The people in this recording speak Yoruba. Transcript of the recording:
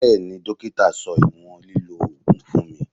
Bẹẹni, dókítà sọ ìwọ̀n lílọ ogun fún mi.